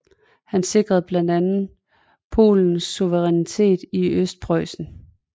Han sikrede blandt andet Polens suverænitet over Østpreussen